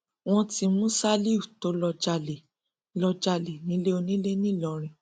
wọn ti mú ṣálíù tó lọọ jalè lọọ jalè nílé onílẹ ńìlọrin